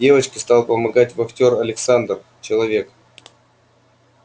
девочке стал помогать вахтер александр человек